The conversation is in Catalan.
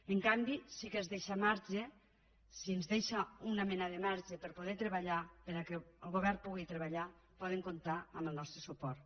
en canvi si ens deixen una mena de marge per a poder treballar perquè el govern pugui treballar poden comptar amb el nostre suport